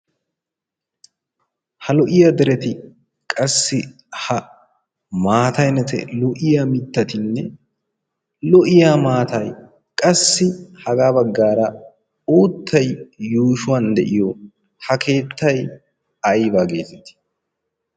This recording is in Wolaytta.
Ha lo'iya dereti qassi ha maattaynne ha lo'iya mittati lo'iya maattay qassi hagaabagaara uuttay yuushuwan de'iyo ha keettay ayba gettetti?